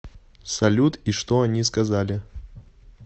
салют и что они сказали